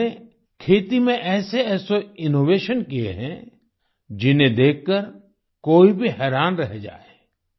इन्होंने खेती में ऐसेऐसे इनोवेशन किए हैं जिन्हें देखकर कोई भी हैरान रह जाए